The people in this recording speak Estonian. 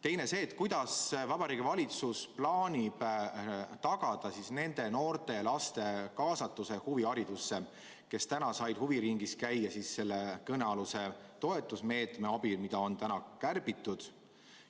Teine küsimus on see, kuidas Vabariigi Valitsus plaanib tagada nende noorte ja laste kaasatuse huviharidusse, kes seni said huviringis käia selle kõnealuse toetusmeetme abil, mida nüüd kärbitakse?